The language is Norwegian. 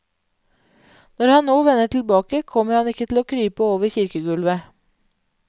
Når han nå vender tilbake, kommer han ikke til å krype over kirkegulvet.